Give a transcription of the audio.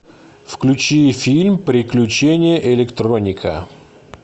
включи фильм приключения электроника